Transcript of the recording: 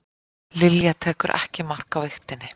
Lilja tekur ekki mark á vigtinni